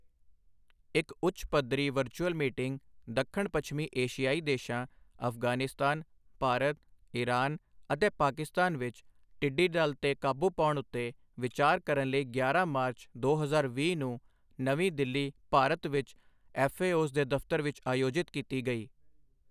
ਇਕ ਉੱਚ ਪੱਧਰੀ ਵਰਚੁਅਲ ਮੀਟਿੰਗ ਦੱਖਣ ਪੱਛਮੀ ਏਸ਼ੀਆਈ ਦੇਸ਼ਾਂ ਅਫ਼ਗ਼ਾਨਿਸਤਾਨ, ਭਾਰਤ, ਇਰਾਨ ਅਤੇ ਪਾਕਿਸਤਾਨ ਵਿੱਚ ਟਿੱਡੀਦਲ ਤੇ ਕਾਬੂ ਪਾਉਣ ਉੱਤੇ ਵਿਚਾਰ ਕਰਨ ਲਈ ਗਿਆਰਾਂ ਮਾਰਚ, ਦੋ ਹਜ਼ਾਰ ਵੀਹ ਨੂੰ ਨਵੀਂ ਦਿੱਲੀ, ਭਾਰਤ ਵਿੱਚ ਐੱਫਏਓਜ਼ ਦੇ ਦਫ਼ਤਰ ਵਿੱਚ ਆਯੋਜਿਤ ਕੀਤੀ ਗਈ।